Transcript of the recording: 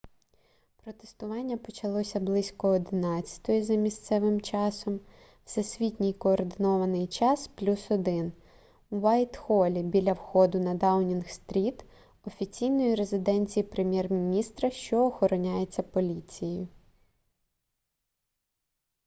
протестування почалося близько 11:00 за місцевим часом всесвітній координований час + 1 в уайтхолі біля входу на даунінг-стріт офіційної резиденції прем'єр-міністра що охороняється поліцією